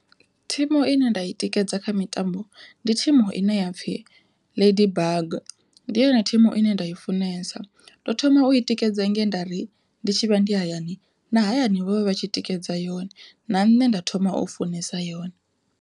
Thimu ine nda i tikedza kha mitambo ndi thimu ine ya pfhi ladybug, ndi yone thimu ine nda i funesa ndo thoma u i tikedza nge nda ri ndi tshivha ndi hayani na hayani vho vha vha tshi tikedza yone na nṋe nda thoma u funesa yone.